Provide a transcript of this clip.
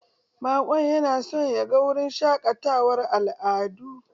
Baƙon yana son ya ga wurin shaƙatawar al'adu.